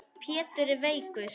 Pétur er veikur.